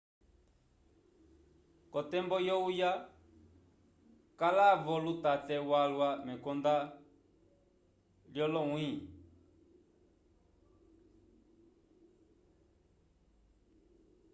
k'otembo yohuya kala-vo lutate walwa mekonda lyolonyĩhi